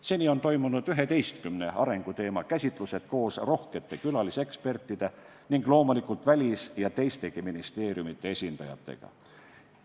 Seni on toimunud 11 arenguteema käsitlused koos rohkete külalisekspertide ning loomulikult välis- ja teistegi ministeeriumide esindajatega.